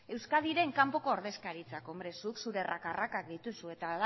euskadiren kanpo ordezkaritzak zuk zure raka rakak dituzu eta hala